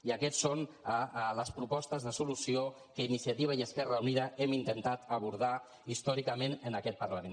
i aquestes són les propostes de solució que iniciativa i esquerra unida hem intentat abordar històricament en aquest parlament